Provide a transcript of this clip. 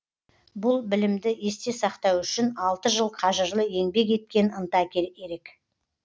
бұл білімді есте сақтау үшін алты жыл қажырлы еңбек еткен ынта ерек